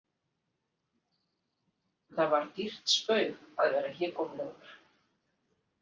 Það var dýrt spaug að vera hégómlegur.